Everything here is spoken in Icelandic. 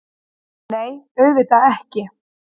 Nei, auðvitað ekki!